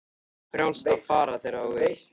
Er þér frjálst að fara þegar þú vilt?